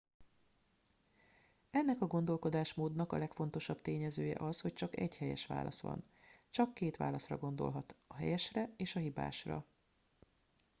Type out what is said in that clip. ennek a gondolkodásmódnak a legfontosabb tényezője az hogy csak egy helyes válasz van csak két válaszra gondolhat a helyesre és a hibásra